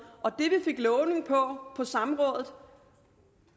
det vi fik lovning om på samrådet